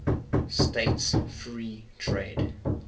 states free trade